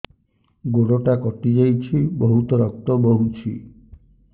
ଗୋଡ଼ଟା କଟି ଯାଇଛି ବହୁତ ରକ୍ତ ବହୁଛି